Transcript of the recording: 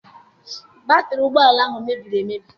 Batịrị ụgbọala ahụ mebiri emebi.